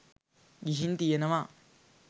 ගිහින් තියෙනවා.